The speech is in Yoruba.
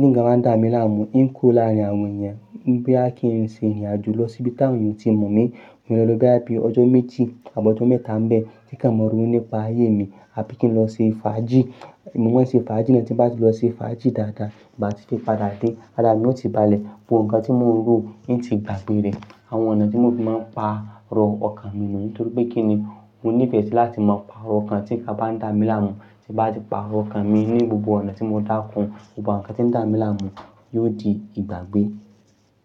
tí ǹkan bá ń dà mí láàmú, ín ku'ò láàrin àwọn èèyàn, bí à kí n ṣe rìnrìn àjò lọ sí ibi tí àwọn èèyàn ò tíì mọ̀ mí, mo lè lọ bí àbí ọjọ́ méji àb'ọjọ́ mẹ́ta ń bẹ́ tí kàn mọ ronu nípa ayé mi, àbí kí n lọ ṣe fàájì, mo máa ń ṣe fàájì, tí bá ti lọ ṣe fàájì dáadáa, ìgbà tí n fi padà dé, àrá mi ó ti balẹ̀, bo ǹkan tí mò ń rò, ó ti dàgbére. Àwọn ọ̀nà tí mo fi máa ń pàrọ̀ ọkàn mi niyii nítorí pé kíni mo nífẹ̀ẹ́ sí láti máa pàrọ̀ ọkàn tí ǹkan bá ń dà mí láàmú, tí bá ti pàrọ̀ ọkàn mi ní gbogbo ọ̀nà tí mo dáko, bo ǹkan tí ń dà mí láàmú yóò di ìgbàgbé.